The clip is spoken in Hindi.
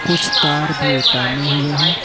कुछ तार भी ताने हुए हैं।